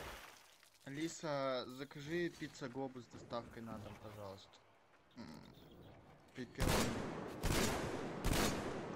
алиса закажи пицца глобус с доставкой на дом пожалуйста пепперони два сыра